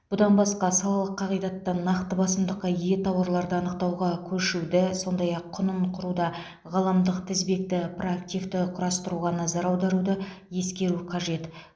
бұдан басқа салалық қағидаттан нақты басымдыққа ие тауарларды анықтауға көшуді сондай ақ құнын құруда ғаламдық тізбекті проактивті құрастыруға назар аударуды ескеру қажет